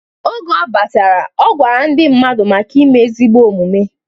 Oge ọ batara, ọ gwara ndị mmadụ maka ime ezigbo omumue.